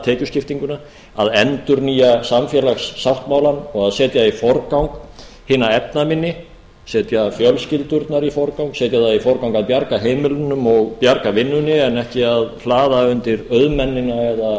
tekjuskiptinguna að endurnýja samfélagssáttmálann og setja í forgang hina efnaminni setja fjölskyldurnar í forgang setja í forgang að bjarga heimilunum og bjarga vinnunni en ekki að hlaða undir auðmennina eignasöfnunina eða